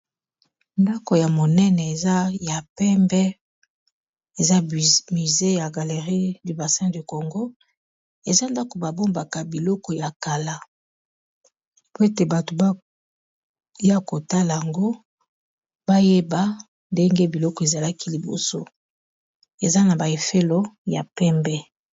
Ndaku ya munene eza ya pembe eza musée ya galerie du bassin du Congo eza ndaku babombaka biloko ya kala Po ete Batu baya kotala yango bayeba ndenge ezalaka kala eza na efelo ya pembe